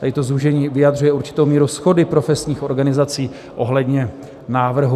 Tady to zúžení vyjadřuje určitou míru shody profesních organizací ohledně návrhu.